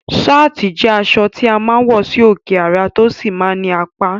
Sáàtì jẹ́ aṣọ tí a máa ń wọ sí òkè ara, tó sì máa ń ní apá